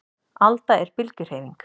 Alda er bylgjuhreyfing.